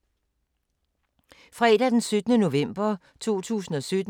Fredag d. 17. november 2017